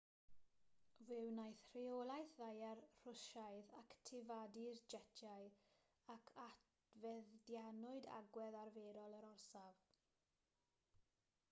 fe wnaeth rheolaeth ddaear rwsiaidd actifadu'r jetiau ac adfeddianwyd agwedd arferol yr orsaf